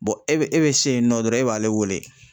e be, e be se yen nɔ dɔrɔn e b'ale wele.